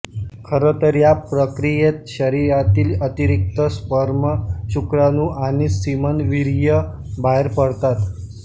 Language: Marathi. खरतर या प्रक्रियेत शरीरातील अतिरिक्त स्पर्म शुक्राणू आणि सीमन वीर्य बाहेर पडतात